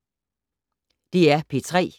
DR P3